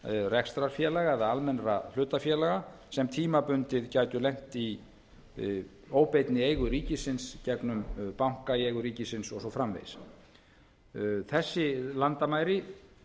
rekstrarfélaga eða almennra hlutafélaga sem tímabundið gætu lent í óbeinni eigu ríkisins í gegnum banka í eigu ríkisins og svo framvegis þessi landamæri